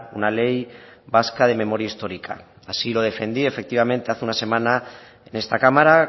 una ley vasca de memoria histórica así lo defendí efectivamente hace una semana en esta cámara